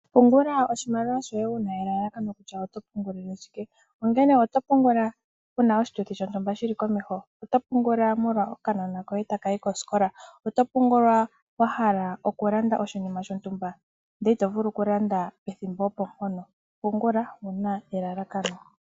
Pungula oshimaliwa shoye wu na elalakano kutya oto pungulile shike. Ongele oto pungula wu na oshituthi shontumba shili komeho? Oto pungula wu na okanona koye taka yi kosikola? Oto pungula wa hala oku landa oshinima shoye shontumba ndele ito vulu oku landa pethimbo opo mpono? Pungula wu na elalakano.